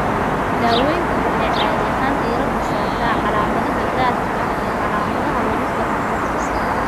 Daaweyntu waxay caadi ahaan diiradda saartaa calaamadaha gaarka ah iyo calaamadaha lagu garto qofkasta.